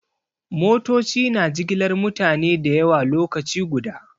Motoci na jigilar mutane da yawa lokaci guda.